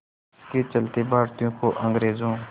इसके चलते भारतीयों को अंग्रेज़ों